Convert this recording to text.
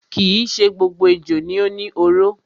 Kii ṣe gbogbo ejò ni ó ni oró.